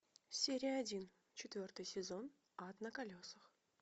серия один четвертый сезон ад на колесах